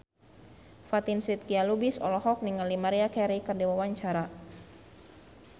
Fatin Shidqia Lubis olohok ningali Maria Carey keur diwawancara